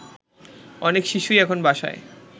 অনেক শিশুই এখন বাসায়